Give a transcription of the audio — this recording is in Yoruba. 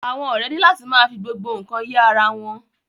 Àwọn ọrẹ ni la ti ma fi gbogbo nkan ye ará wọn.